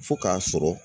Fo k'a sɔrɔ